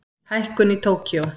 Hækkun í Tókýó